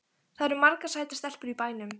Það eru margar sætar stelpur í bænum.